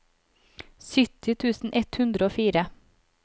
sytti tusen ett hundre og fire